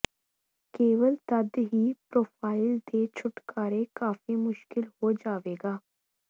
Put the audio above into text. ਕੇਵਲ ਤਦ ਹੀ ਪ੍ਰੋਫ਼ਾਈਲ ਦੇ ਛੁਟਕਾਰੇ ਕਾਫ਼ੀ ਮੁਸ਼ਕਲ ਹੋ ਜਾਵੇਗਾ